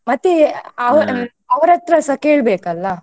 ಮತ್ತೆ ಅವ್ರತ್ರಸ ಕೇಳ್ಬೇಕಲ್ಲ.